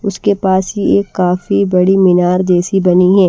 उसके पास ही एक काफी बड़ी मीनार जैसी बनी है।